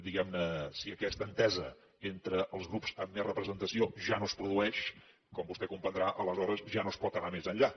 diguem ne si aquesta entesa entre els grups amb més representació ja no es produeix com vostè comprendrà aleshores ja no es pot anar més enllà